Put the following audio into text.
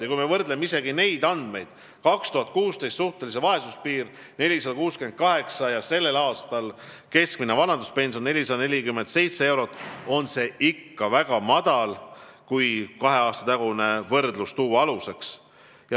Ja kui me võrdleme neid andmeid, 2016. aasta suhtelise vaesuse piiri, 468 eurot ja selle aasta keskmist vanaduspensioni, 447 eurot, siis on pension ka kahe aasta taguse ajaga võrreldes ikka väga madal.